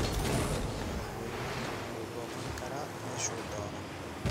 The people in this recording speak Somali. Madaxweynuhu wuxuu booqan karaa meeshuu doono.